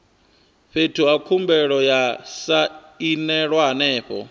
fhethu he khumbelo ya sainelwa hone